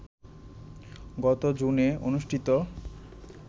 গত জুনে অনুষ্ঠিত